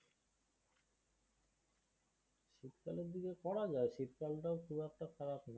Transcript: শীতকালের দিকে করা যায়, শীতকালটায় খুব একটা খারাপ না।